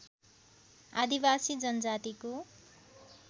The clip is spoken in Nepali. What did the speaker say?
आदिवासी जनजातिको